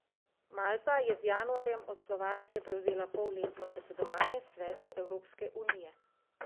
Malta je z januarjem od Slovaške prevzela polletno predsedovanje Svetu Evropske unije.